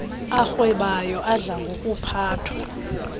arhwebayo adla ngokuphathwa